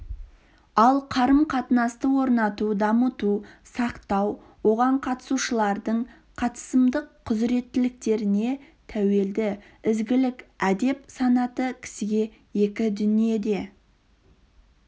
ал қарым-қатынасты орнату дамыту сақтау оған қатысушылардың қатысымдық құзыреттіліктеріне тәуелді ізгілік әдеп санаты кісіге екі дүниеде